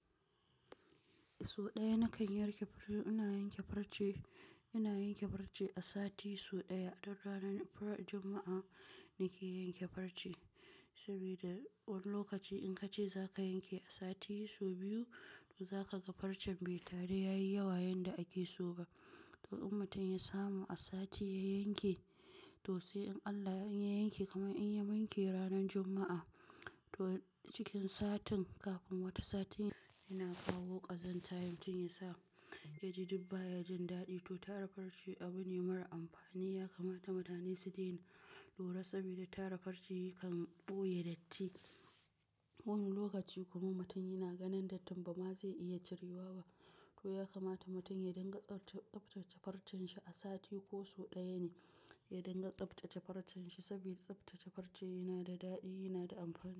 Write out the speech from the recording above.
So ɗaya na kan yarke ina farce, ina yanke farce, ina yanke farce a sati so ɗaya. Dun ranar Fra-- Juma'a nike yanke farce, sabida wani lokaci in kace zaka yanke a sati so biyu, to zaka ga farcen bai taru yayi yawa yanda ake so ba. To in mutum ya samu a sati ya yanke to sai in Allah ya in ya yanke, kamar in ya wanke ranar Juma'a to cikin satin kafin wata satin yana kawo ƙazanta in mutum ya sa ya ji dub baya jin daɗi. To tara farce abu ne marar amfani, ya kamata mutane su daina lura sabida tara farce kan ɓoye datti. Wani lokaci kuma mutum yana ganin dattin ba ma zai iya ciriwawa ba, to ya kamata mutum ya dinga tsabta-- tsaftace farcen shi a sati ko so ɗaya ne ya dinga tsaftace farcen shi. Saboda tsaftace farce yana da daɗi, yana da amfani.